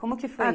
Como que foi